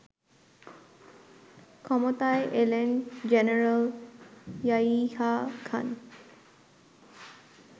ক্ষমতায় এলেন জেনারেল ইয়াহিয়া খান